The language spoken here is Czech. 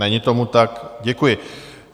Není tomu tak, děkuji.